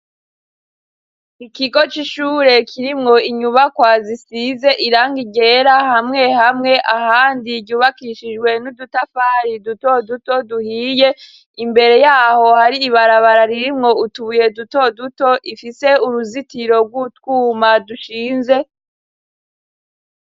Ikigo c'ishure kirimwo inyubakwa zisize irangi ryera hamwe hamwe, ahandi ryubakishijwe n'udutafari dutoduto duhiye, imbere y'aho hari ibarabara ririmwo utubuye dutoduto, ifise uruzitiro rw'utwuma dushinze.